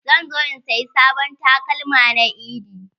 Zan zo in saya sabon takalma na eid.